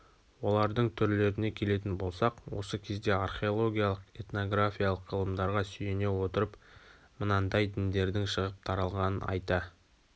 олардың түрлеріне келетін болсақ осы кездегі археологиялық этнографиялық ғылымдарға сүйене отырып мынандай діндердің шығып таралғанын айта